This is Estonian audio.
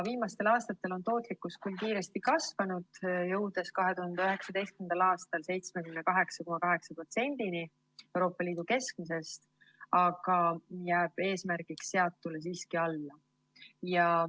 Viimastel aastatel on tootlikkus küll kiiresti kasvanud, jõudes 2019. aastal 78,8%‑ni Euroopa Liidu keskmisest, aga see jääb eesmärgiks seatule siiski alla.